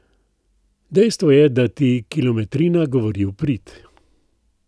Dejstvo je, da ti kilometrina govori v prid.